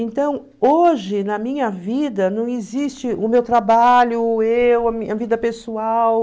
Então, hoje, na minha vida, não existe o meu trabalho, eu, a minha vida pessoal.